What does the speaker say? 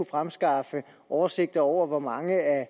fremskaffe oversigter over hvor mange af